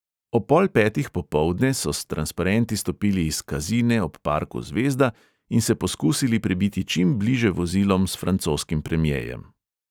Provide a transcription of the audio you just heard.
Ob pol petih popoldne so s transparenti stopili iz kazine ob parku zvezda in se poskusili prebiti čim bliže vozilom s francoskim premjejem.